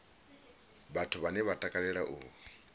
vhathu vhane vha takalela u